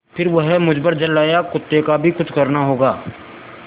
फिर वह मुझ पर झल्लाया कुत्ते का भी कुछ करना होगा